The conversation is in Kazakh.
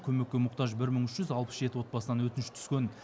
көмекке мұқтаж бір мың үш жүз алпыс жеті отбасынан өтініш түскен